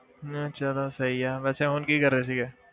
ਨਹੀਂ ਚਲੋ ਸਹੀ ਆ, ਵੈਸੇ ਹੁਣ ਕੀ ਕਰ ਰਹੇ ਸੀਗੇ?